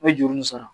N bɛ juru nin sara